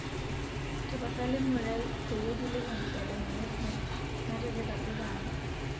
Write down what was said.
tapasali ngurai peyie kiliki nkitadamunot muuj natipika duo taata